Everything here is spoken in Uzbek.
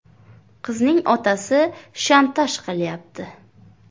Qizning otasi ‘shantaj’ qilyapti.